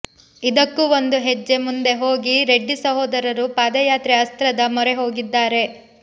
ಇದಕ್ಕೂ ಒಂದು ಹೆಜ್ಜೆ ಮುಂದೆ ಹೋಗಿ ರೆಡ್ಡಿ ಸಹೋದರರು ಪಾದಯಾತ್ರೆ ಅಸ್ತ್ರದ ಮೊರೆ ಹೋಗಿದ್ದಾರೆ